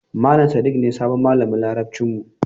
Malam Sadik ne sabon malamin Larabcin mu.